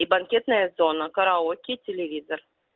и банкетная зона караоке телевизор